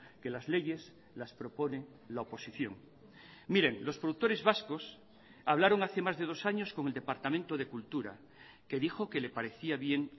que las leyes las propone la oposición miren los productores vascos hablaron hace más de dos años con el departamento de cultura que dijo que le parecía bien